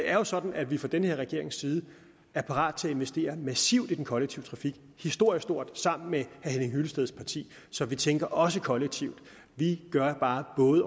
er jo sådan at vi fra den her regerings side er parate til at investere massivt i den kollektive trafik og historisk stort sammen med herre henning hyllesteds parti så vi tænker også kollektivt vi gør bare både